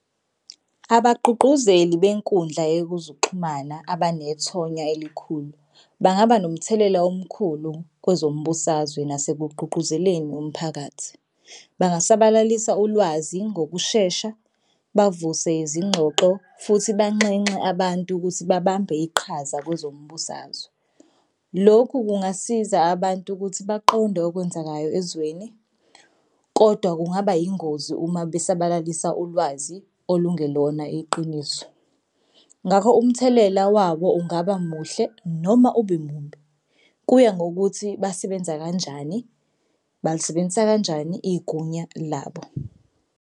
Abagqugquzeli benkundla yekuzuxhumana abanethonya elikhulu bangaba nomthelela omkhulu kwezombusazwe nase kugqugquzeleni umphakathi. Bangasabalalisa ulwazi ngokushesha bavuse izingxoxo futhi banxenxe abantu ukuthi babambe iqhaza kwezombusazwe. Lokhu kungasiza abantu ukuthi baqonde okwenzakayo ezweni kodwa kungaba yingozi uma basabalisa ulwazi olungele khona iqiniso. Ngakho umthelela wabo ungaba muhle noma ube mumbi, kuya ngokuthi basebenza kanjani balisebenzisa kanjani igunya labo.